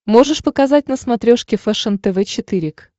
можешь показать на смотрешке фэшен тв четыре к